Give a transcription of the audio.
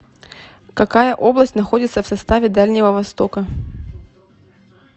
какая область находится в составе дальнего востока